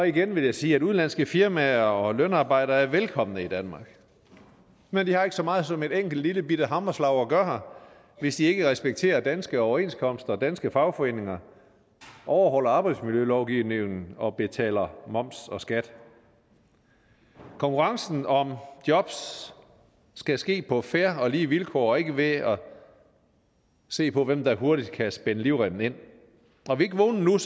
igen vil jeg sige at udenlandske firmaer og lønarbejdere er velkomne i danmark men de har ikke så meget som et enkelt lillebitte hammerslag at gøre her hvis de ikke respekterer danske overenskomster og danske fagforeninger overholder arbejdsmiljølovgivningen og betaler moms og skat konkurrencen om jobs skal ske på fair og lige vilkår og ikke ved at se på hvem der hurtigt kan spænde livremmen ind er vi ikke vågne